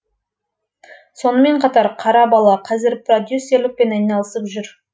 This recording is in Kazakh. сонымен қатар қара бала қазір продюсерлікпен айналысып жүр